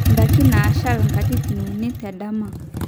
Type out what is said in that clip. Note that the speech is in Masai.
indaiki naashal katitin uni tendama